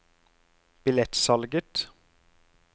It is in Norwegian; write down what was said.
billettsalget